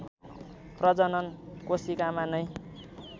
प्रजनन कोशिकामा नै